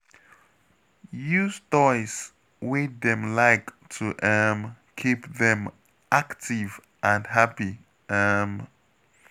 Use toys wey dem like to um keep dem active and happy. um